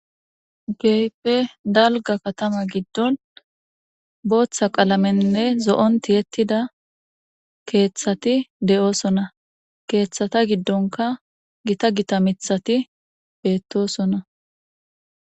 Kehippe dalga katama giddon booththa qalamenne zo7on ti yettida keeththati de7oosona keeththata giddonka gita gita mithati beettoosona